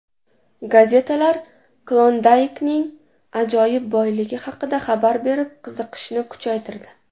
Gazetalar Klondaykning ajoyib boyligi haqida xabarlar berib, qiziqishni kuchaytirdi.